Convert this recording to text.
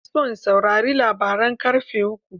Ina so na saurari labaran ƙarfe uku.